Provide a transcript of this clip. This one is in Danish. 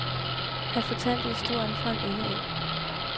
Han fortalte historien fra en ende af.